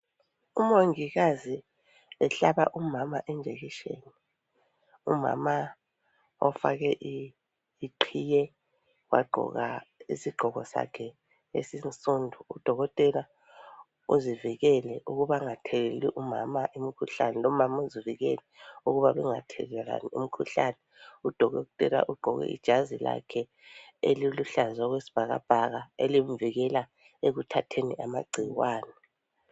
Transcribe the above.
Umongikazi ehlaba umama i jekisheni. Umama ofake iqhiye , wagqoka isigqoko sakhe esinsundu. Udokotela uzivikele ukuba angatheleli umama umkhuhlane lomama uvikele ukuba bengathelelani umkhuhlane. Udokotela ugqoke ijazi lakhe eliluhlaza okwesibhakabhaka elimvikela ekuthatheni amagcikwane